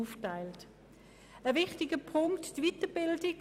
Ein weiterer wichtiger Punkt ist die Weiterbildung: